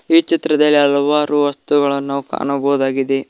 ಈ ಚಿತ್ರದಲ್ಲಿ ಹಲವಾರು ವಸ್ತುಗಳನ ನಾವು ಕಾಣಬಹುದಾಗಿದೆ.